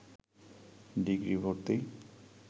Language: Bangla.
ডিগ্রি ভর্তি